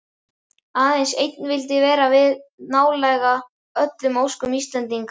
Aðeins einn vildi verða við nálega öllum óskum Íslendinga.